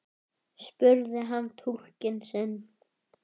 spurði hann túlkinn sinn.